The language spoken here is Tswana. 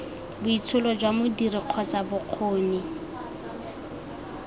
boitsholo jwa modiri kgotsa bokgoni